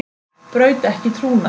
Braut ekki trúnað